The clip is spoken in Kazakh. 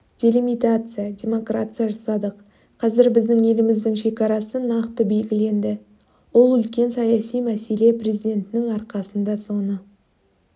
делимитация деморкация жасадық қазір біздің еліміздің шекарасы нақты белгіленді ол үлкен саяси мәселе президенттің арқасында соны